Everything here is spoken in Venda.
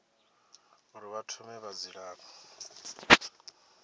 uri vha thome na dzilafho